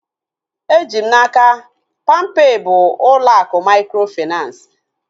Eji m n'aka, palmpay bụ ụlọ akụ mikrofinansi